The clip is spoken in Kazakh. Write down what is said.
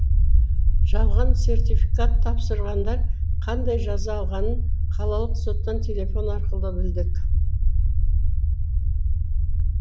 жалған сертификат тапсырғандар қандай жаза алғанын қалалық соттан телефон арқылы білдік